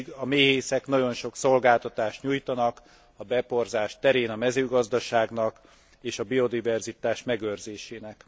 Pedig a méhészek nagyon sok szolgáltatást nyújtanak a beporzás terén a mezőgazdaságnak és a biodiverzitás megőrzésének.